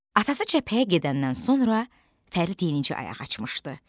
Atası cəbhəyə gedəndən sonra Fərid yeni-yenicə ayaq açmışdı.